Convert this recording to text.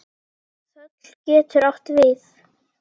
Þöll getur átt við